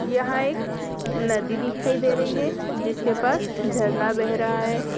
यहां एक नदी दिखाई दे रही है जिसके पास झरना बह रहा है।